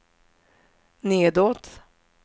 nedåt